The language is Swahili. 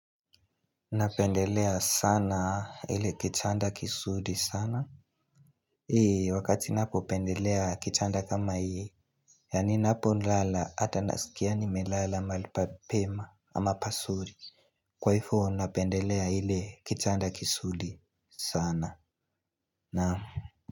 Napendelea sana ile kichanda kisuri sana wakati napopendelea kichanda kama hii Yani napolala ata nasikia nimelala mali pa pema ama pasuri Kwa ifo napendelea ile kichanda kisuli sana Naam.